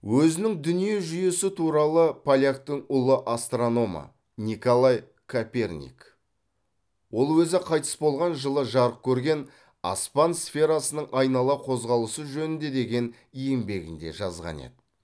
өзінің дүние жүйесі туралы поляктың ұлы астрономы николай коперник ол өзі қайтыс болған жылы жарық көрген аспан сферасының айнала қозғалысы жөнінде деген еңбегінде жазған еді